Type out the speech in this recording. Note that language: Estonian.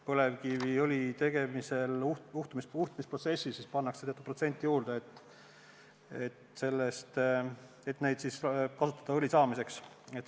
Põlevkiviõli tegemisel utmisprotsessis pannakse teatud protsent juurde, et neid saaks kasutada õli tootmiseks.